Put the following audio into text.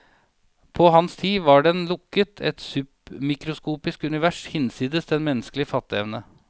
På hans tid var den lukket, et submikroskopisk univers hinsides den menneskelige fatteevne.